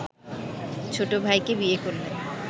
ছোট ভাইকে বিয়ে করলেন